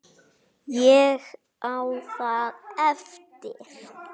Eins og hvað þá?